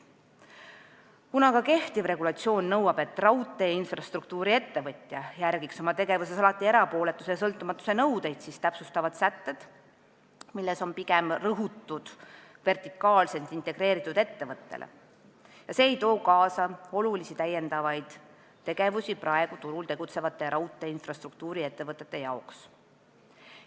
Kuna aga kehtiv regulatsioon nõuab, et raudteeinfrastruktuuri-ettevõtja järgiks oma tegevuses alati erapooletuse ja sõltumatuse nõudeid, siis täpsustavates sätetes on pigem rõhutud vertikaalselt integreeritud ettevõtjale ja see ei too kaasa olulisi täiendavaid tegevusi praegu turul tegutsevate raudteeinfrastruktuuri-ettevõtjate jaoks.